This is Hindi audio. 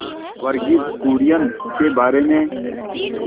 वर्गीज कुरियन के बारे में